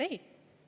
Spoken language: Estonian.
Ei!